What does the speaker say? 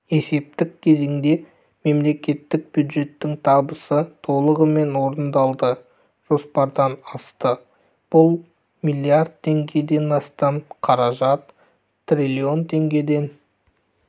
есептік кезеңде мемлекеттік бюджеттің табысы толығымен орындалды жоспардан асты бұл млрд теңгеден астам қаражат триллион теңгеден